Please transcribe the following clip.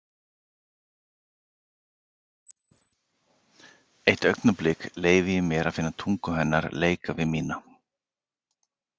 Eitt augnablik leyfi ég mér að finna tungu hennar leika við mína.